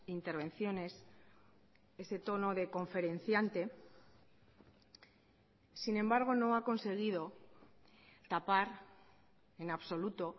intervenciones ese tono de conferenciante sin embargo no ha conseguido tapar en absoluto